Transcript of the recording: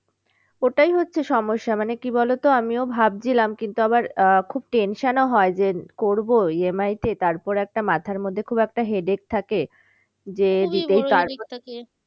ওটাই হচ্ছে সমস্যা মানে কি বলতো আমিও ভাবছিলাম কিন্তু আবার খুব tension ও হয় যে করবো EMI তে তারপরে একটা মাথার মধ্যে খুব একটা headache থাকে যে